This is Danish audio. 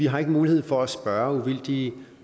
har mulighed for at spørge uvildige